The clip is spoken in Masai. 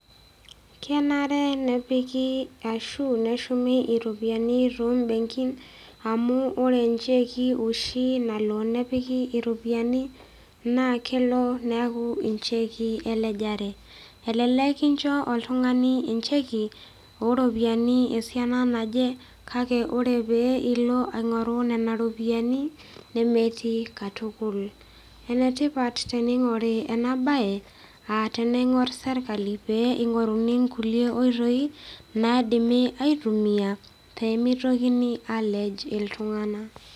Kenare nepiki ashu neshumi iropiyiani tombenkin amu ore incheki oshi nalo nepiki iropiyiani naa kelo neeku incheki elejare elelek kincho oltung'ani encheki oropiyiani esiana naje kake ore pee ilo aing'oru nena ropiyiani nemetii katukul enetipat tening'ori ena baye aa teneing'orr serkali pee ing'oruni inkulie oitoi naidimi aitumia pemitokini alej iltung'anak.